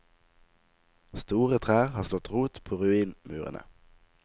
Store trær har slått rot på ruinmurene.